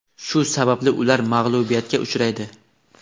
shu sababli ular mag‘lubiyatga uchraydi.